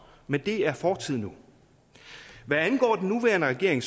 men det er fortid nu hvad angår den nuværende regering